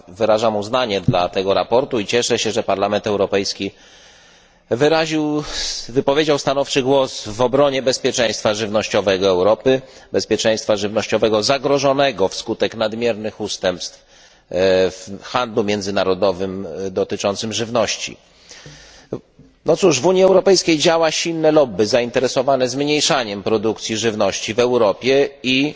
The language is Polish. Wyrażam uznanie dla tego sprawozdania i cieszę się, że Parlament Europejski wypowiedział się stanowczo w obronie bezpieczeństwa żywnościowego Europy, bezpieczeństwa żywnościowego zagrożonego wskutek nadmiernych ustępstw w handlu międzynarodowym dotyczącym żywności. W Unii Europejskiej działa silne lobby zainteresowane zmniejszaniem produkcji żywności w Europie i